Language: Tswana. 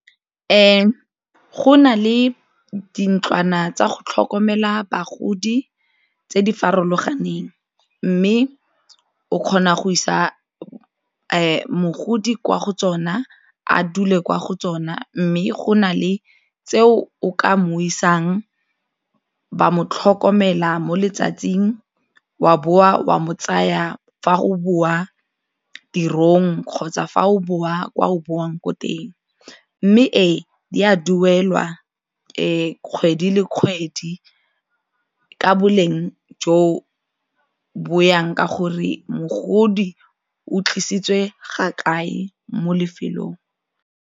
Go na le dintlwana tsa go tlhokomela bagodi tse di farologaneng mme o kgona go isa mogodi kwa go tsona a dule kwa go tsona mme go na le tse o ka moo isang wa mo tlhokomela mo letsatsing wa bowa wa mo tsaya fa go boa tirong kgotsa fa o boa kwa o boang ko teng, mme ee, e a duelwa kgwedi le kgwedi ka boleng jo bo yang ka gore mogodi o tlisitswe ga kae mo lefelong.